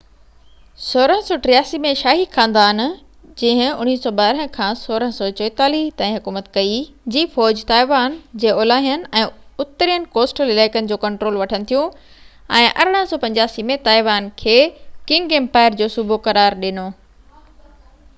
1683 ۾، شاهي خاندان 1644-1912 جي فوج تائيوان جي اولاهين ۽ اترين ڪوسٽل علائقن جو ڪنٽرول وٺن ٿيون ۽ 1885 ۾ تائيوان کي ڪنگ امپائر جو صوبو قرار ڏنو